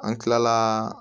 An kilala